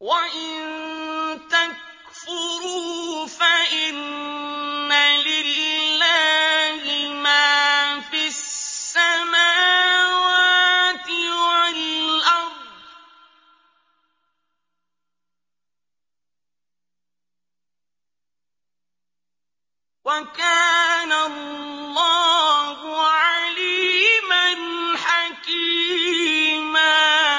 وَإِن تَكْفُرُوا فَإِنَّ لِلَّهِ مَا فِي السَّمَاوَاتِ وَالْأَرْضِ ۚ وَكَانَ اللَّهُ عَلِيمًا حَكِيمًا